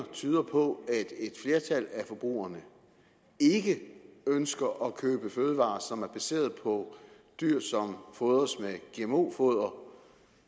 tyder på at et flertal af forbrugerne ikke ønsker at købe fødevarer som er baseret på dyr som fodres med gmo foder og